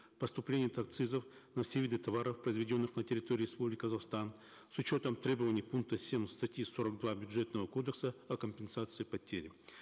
поступления от акцизов на все виды товаров произведенных на территории республики казахстан с учетом требований пункта семь статьи сорок два бюджетного кодекса о компенсации потери